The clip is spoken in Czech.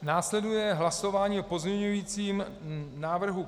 Následuje hlasování o pozměňujícím návrhu